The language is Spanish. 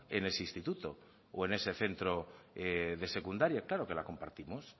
en ese instituto o en ese centro de secundaria claro que la compartimos